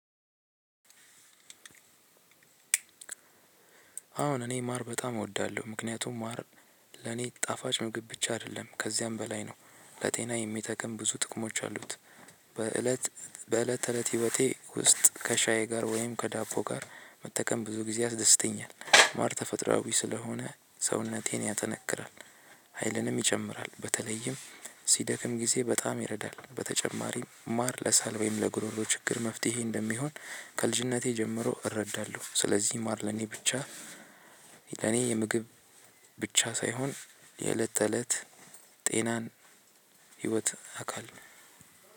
አሁን እኔ ማር በጣም እወዳለሁ ምክንያቱም ማር ለኔ ጣፋጭ ምግብ ብቻ አይደለም ከዚያም በላይ ነው ለጤና የሚጠቅም ብዙ ጥቅሞች አሉት። በእለት በእለት ተእለት ህይወቴ ውስጥ ከሻዬ ጋር ወይም ከዳቦ ጋር መተከም ብዙ ጊዜ አስደስተኛል ማር ተፈጥሮአዊ ስለሆነ ሰውነቴን ያጠነክራል። ሀይልንም ይጨምራል በተለይም ሲደክም ጊዜ በጣም ይረዳል። በተጨማሪም ማር ለሳል ወይም ለጉሮሮ ችግር መፍትሄ እንደሚሆን ከልጅነቴ ጀምሮ እረዳለሁ። ስለዚህ ማር ለኔ ብቻ ለኔ የምግብ ብቻ ሳይሆን የእለት ተእለት ጤናን ህይወት አካል ነው።